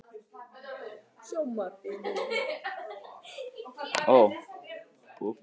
Ferdinand, kveiktu á sjónvarpinu.